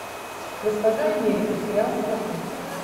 госпожа америка сериал смотреть